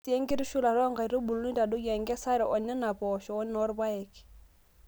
Ore sii enkitushulata oo nkaitubulu, nitadoyio enkesare oo Nena poosho wenoo rpayek.